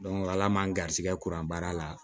ala man garisigɛ kuran baara la